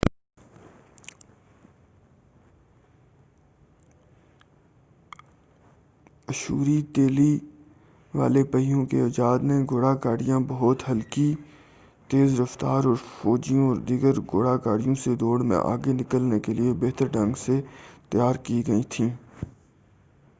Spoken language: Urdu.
تیلی والے پہیوں کی ایجاد نے اشوری گھوڑا گاڑیاں بہت ہلکی تیز رفتار اور فوجیوں و دیگر گھوڑا گاڑیوں سے دوڑ میں آگے نکلنے کیلئے بہتر ڈھنگ سے تیار کی گئیں تھیں